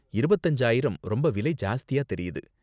இருபத்து அஞ்சு ஆயிரம் ரொம்ப விலை ஜாஸ்தியா தெரியுது.